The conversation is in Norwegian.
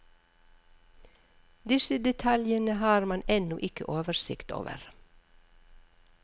Disse detaljene har man ennå ikke oversikt over.